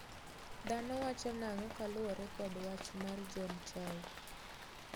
Dhano wacho nang'o kaluore kod wach mar John Chau?